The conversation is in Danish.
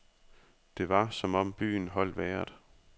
Det var som om byen holdt vejret.